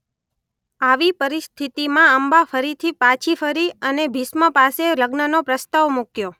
આવી પરીસ્થિતિમા અંબા ફરીથી પાછી ફરી અને ભીષ્મ પાસે લગ્ન નો પ્રસ્તાવ મુક્યો.